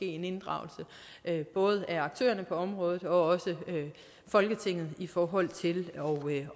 en inddragelse både af aktørerne på området og også folketinget i forhold til